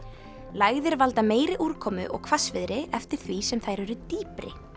lægðir valda meiri úrkomu og hvassviðri eftir því sem þær eru dýpri